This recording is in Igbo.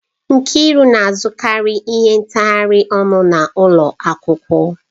Nkiru na-azụkarị ihe ntaghari ọnụ n'ụlọ akwụkwọ.